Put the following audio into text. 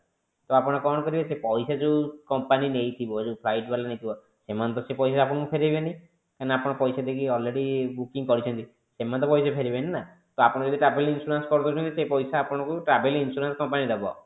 ତ ଆପଣ କଣ କରିବେ ସେ ପଇସା ଯୋଉ company ନେଇଥିବ ଯଉ flight ବାଲା ନେଇଥିବ ସେମାନେ ତ ସେ ପଇସା ଆପଣଙ୍କୁ ଫେରେଇବେନି କାହିଁକି ନା ଆପଣ ପଇସା ଦେଇକି already booking କରିଛନ୍ତି ସେମାନେ ତ ପଇସା ଫେରେଇବେନି ନା ତ ଆପଣ ଯଦି travel insurance କରି ଦଉଛନ୍ତି ସେ ପଇସା ଆପଣଙ୍କୁ travel insurance company ଦବ।